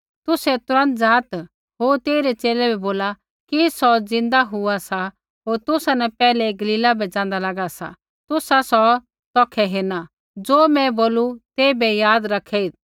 तुसै तुरन्त ज़ात होर तेइरै च़ेले बै बोला कि सौ ज़िन्दा हुआ सा होर तुसा न पैहलै गलीला बै ज़ाँदा लागा सा तुसा सौ तौखै हेरना ज़ो मैं बोलू तेइबै याद रखेइत्